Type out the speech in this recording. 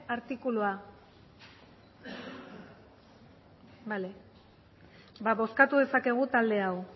artikulua bale bozkatu dezakegu talde hau